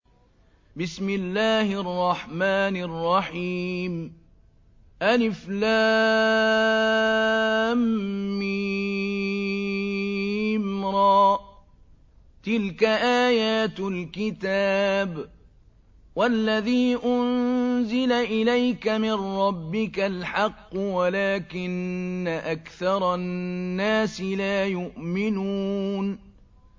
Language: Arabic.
المر ۚ تِلْكَ آيَاتُ الْكِتَابِ ۗ وَالَّذِي أُنزِلَ إِلَيْكَ مِن رَّبِّكَ الْحَقُّ وَلَٰكِنَّ أَكْثَرَ النَّاسِ لَا يُؤْمِنُونَ